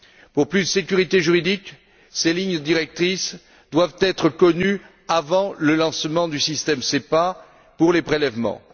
Pour plus de sécurité juridique, ces lignes directrices doivent être connues avant le lancement du système SEPA pour les prélèvements.